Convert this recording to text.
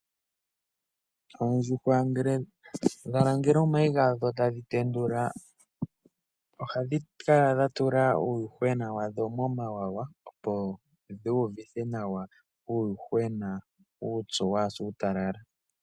Oondjuhwa ngele dhalangele omayi gadho etadhi tetula ohadhi kala dhi tula uuyuhwena wadho momawawa, opo dhuuvuthe nawa uuyuhwena kawu se uutalala.